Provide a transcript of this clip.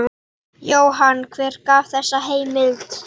Jóhann: Hver gaf þessa heimild?